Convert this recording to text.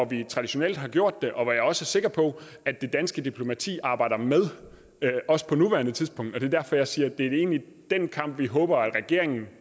vi traditionelt har gjort det og hvor jeg også er sikker på at det danske diplomati arbejder med på nuværende tidspunkt det er derfor jeg siger at det egentlig er den kamp vi håber at regeringen